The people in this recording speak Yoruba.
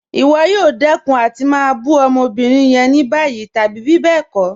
Ìwọ̀ yóò dẹkun àti má bù ọmọ́bírín yẹn ní bayí tàbí bíbẹ́ẹ̀kọ̀.